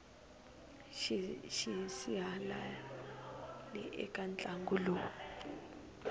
mani xisihalali eka ntlangu lowu